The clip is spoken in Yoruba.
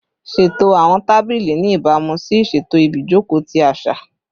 Ṣeto awọn tabili ni ibamu si iṣeto ibijoko ti aṣa